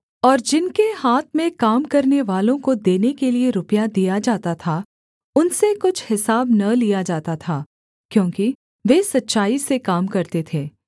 और जिनके हाथ में काम करनेवालों को देने के लिये रुपया दिया जाता था उनसे कुछ हिसाब न लिया जाता था क्योंकि वे सच्चाई से काम करते थे